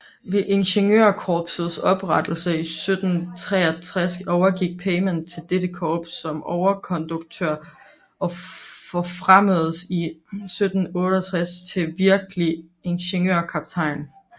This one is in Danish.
Ved Ingeniørkorpsets oprettelse 1763 overgik Peymann til dette korps som overkonduktør og forfremmedes i 1768 til virkelig ingeniørkaptajn